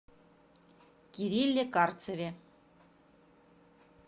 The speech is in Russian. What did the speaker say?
кирилле карцеве